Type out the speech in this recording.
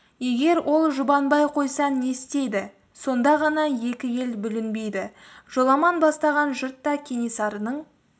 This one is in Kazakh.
егер ол жұбанбай қойса не істейді сонда ғана екі ел бүлінбейді жоламан бастаған жұрт та кенесарының